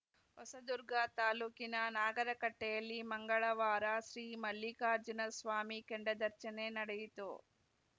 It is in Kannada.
ಹೊಸದುರ್ಗ ತಾಲೂಕಿನ ನಾಗರಕಟ್ಟೆಯಲ್ಲಿ ಮಂಗಳವಾರ ಶ್ರೀ ಮಲ್ಲಿಕಾರ್ಜುನಸ್ವಾಮಿ ಕೆಂಡದರ್ಚನೆ ನಡೆಯಿತು